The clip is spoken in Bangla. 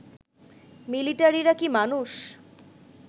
মিলিটারিরা কি মানুষ